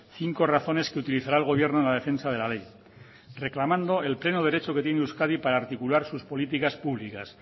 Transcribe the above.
cinco razones que utilizará el gobierno en la defensa de la ley reclamando el pleno derecho que tiene euskadi para articular sus políticas públicas